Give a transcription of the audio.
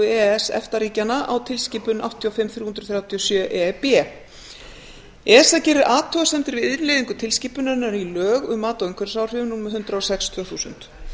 s efta ríkjanna á tilskipun áttatíu og fimm þrjú hundruð þrjátíu og sjö eða esa gerir athugasemdir við innleiðingu tilskipunarinnar í lög um mat á umhverfisáhrifum númer hundrað og sex tvö þúsund